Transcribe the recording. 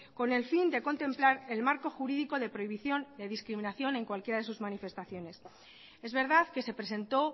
con el fin de contemplar el marco jurídico de prohibición de discriminación en cualquiera de sus manifestaciones es verdad que se presentó